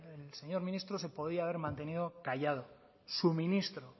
el señor ministro se podía haber mantenido callado su ministro